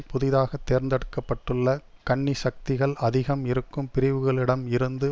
புதிதாக தேர்ந்தெடுக்க பட்டுள்ள கன்னி சக்திகள் அதிகம் இருக்கும் பிரிவுகளிடம் இருந்து